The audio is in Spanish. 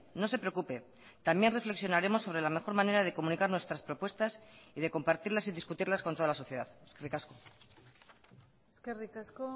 no se preocupe también reflexionaremos sobre la mejor manera de comunicar nuestras propuestas y de compartirlas y discutirlas con toda la sociedad eskerrik asko eskerrik asko